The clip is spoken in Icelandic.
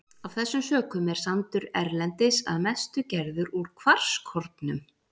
Af þessum sökum er sandur erlendis að mestu gerður úr kvarskornum.